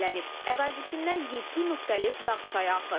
Ərazisindən yeddi müxtəlif dağ çayı axır.